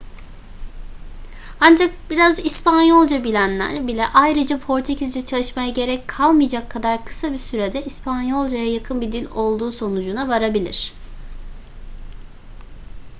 ancak biraz i̇spanyolca bilenler bile ayrıca portekizce çalışmaya gerek kalmayacak kadar kısa bir sürede i̇spanyolcaya yakın bir dil olduğu sonucuna varabilir